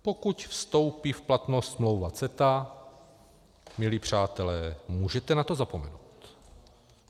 Pokud vstoupí v platnost smlouva CETA, milí přátelé, můžete na to zapomenout.